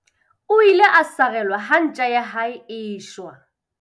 O ile a sarelwa ha ntja ya hae e shwa.